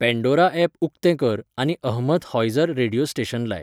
Pandora app उकतें कर आनी अहमद हॉइझर रेडीयो स्टेशन लाय.